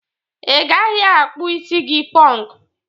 Ị gaghị akpụ isi gị pọnkụ.